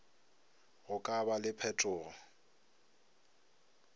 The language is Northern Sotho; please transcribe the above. go ka ba le phetogo